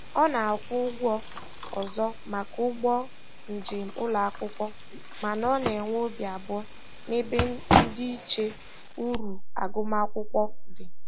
Ọ na-akwụ ụgwọ ọzọ maka ụgbọ njem ụlọakwụkwọ, mana ọ na-enwe obi abụọ n'ebe ndịiche uru agụmakwụkwọ dị.